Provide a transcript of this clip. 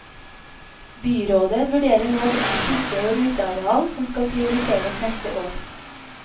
Byrådet vurderer nå hvilke kirker og uteareal som skal prioriteres neste år.